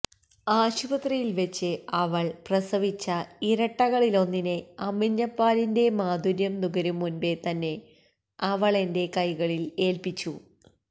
ആശുപത്രിയിൽ വച്ച് അവൾ പ്രസവിച്ച ഇരട്ടകളിലൊന്നിനെ അമ്മിഞ്ഞപാലിന്റെ മാധുര്യം നുകരും മുൻപേ തന്നെ അവളെന്റെ കൈകളിൽ ഏൽപ്പിച്ചു